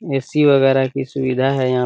AC. वगेरा की सुविधा है यहाँ पे --